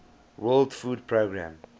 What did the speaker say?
world food programme